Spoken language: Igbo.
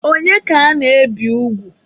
Onye ka ana-ebi ugwu?